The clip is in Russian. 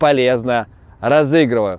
полезно розыгрываю